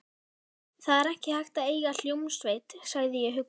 Það er ekki hægt að eiga hljómsveit, sagði ég huggandi.